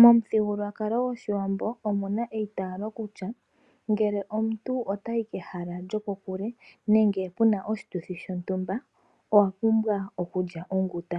Momuthigululwakalo gwoshiwambo omuna eitaalo kutya ngele omuntu otayi kehala lyokokule nenge puna oshituthi shontumba owa pumbwa okulya onguta.